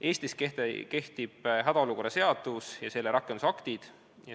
Eestis kehtib hädaolukorra seadus oma rakendusaktidega.